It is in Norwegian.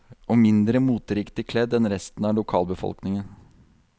Og mindre moteriktig kledd enn resten av lokalbefolkningen.